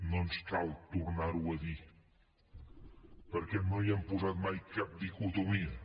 no ens cal tornar ho a dir perquè no hi hem posat mai cap dicotomia